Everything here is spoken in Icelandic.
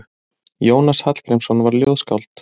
Jónas Hallgrímsson var ljóðskáld.